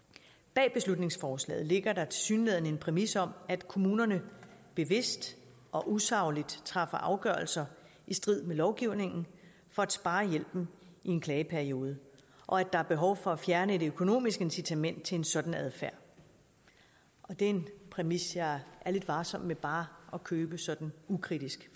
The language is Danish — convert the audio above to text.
bag beslutningsforslaget ligger der tilsyneladende en præmis om at kommunerne bevidst og usagligt træffer afgørelser i strid med lovgivningen for at spare hjælpen i en klageperiode og at der er behov for at fjerne et økonomisk incitament til en sådan adfærd det er en præmis jeg er lidt varsom med bare at købe sådan ukritisk